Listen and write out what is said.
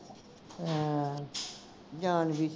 ਹਾਂ ਜਾਣਦੀ